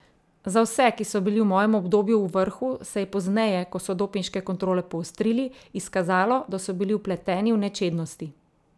Za vse, ki so bili v mojem obdobju v vrhu, se je pozneje, ko so dopinške kontrole poostrili, izkazalo, da so bili vpleteni v nečednosti.